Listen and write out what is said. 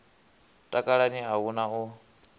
takalani a hu na u